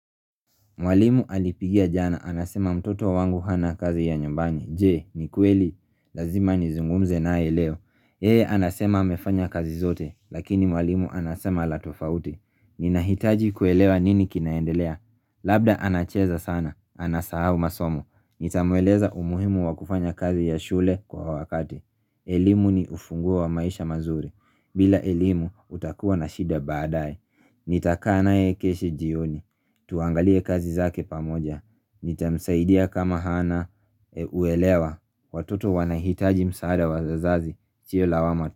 Mwalimu alinipigia jana, anasema mtoto wangu hana kazi ya nyumbani, je, ni kweli? Lazima nizungumze naye leo. Yeye anasema amefanya kazi zote, lakini mwalimu anasema la tofauti Ninahitaji kuelewa nini kinaendelea, labda anacheza sana, anasahau masomo, nitamueleza umuhimu wa kufanya kazi ya shule kwa wakati elimu ni ufunguo wa maisha mazuri, bila elimu utakuwa na shida baadae Nitakaa naye kesho jioni, tuangalie kazi zake pamoja, nitamsaidia kama hana uelewa, watoto wanahitaji msaada wa wazazi, sio lawama tu.